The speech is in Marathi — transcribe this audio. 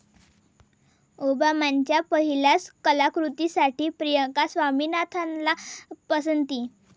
ओबामांच्या पहिल्याच कलाकृतीसाठी प्रिया स्वामीनाथनला पसंती